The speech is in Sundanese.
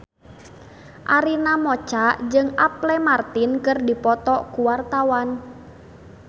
Arina Mocca jeung Apple Martin keur dipoto ku wartawan